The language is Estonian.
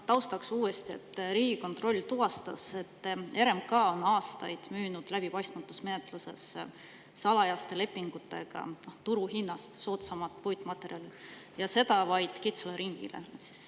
Taustaks uuesti, et Riigikontroll tuvastas, et RMK on aastaid müünud läbipaistmatus menetluses salajaste lepingutega turuhinnast soodsamat puitmaterjali, ja seda vaid kitsale ringile.